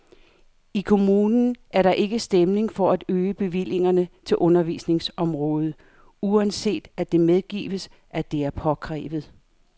I kommunen er der ikke stemning for at øge bevillingerne til undervisningsområdet, uanset at det medgives, at det er påkrævet.